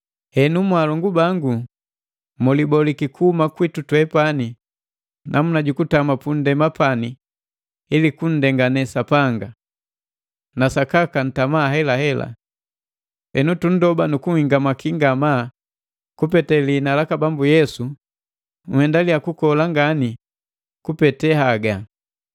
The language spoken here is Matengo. Henu mwaalongu bangu, muliboliki kuhuma kwitu twepani namuna ju kutama pundema pani ili kunndengane Sapanga. Na sakaka ntama haelahela. Henu tunndoba nu kunhingamaki ngamaa kupete lihina laka Bambu Yesu nhendaliya kukola ngani kupete haga.